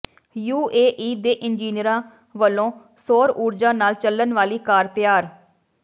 UAE ਦੇ ਇੰਜੀਨੀਅਰਾਂ ਵੱਲੋਂ ਸੌਰ ਊਰਜਾ ਨਾਲ ਚੱਲਣ ਵਾਲੀ ਕਾਰ ਤਿਆਰ